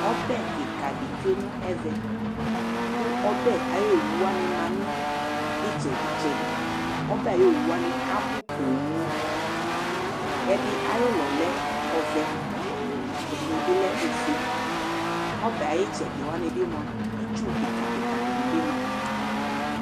Ɔbɛ kika di tsue nɛvɛ Ku ɔbɛ awu owu wani abu ƒooo Ɛdi awu ulɔ avɛ ɛdi ɔle ofue Ku ɔbɛ awu itsɛdi wani itsu be ni du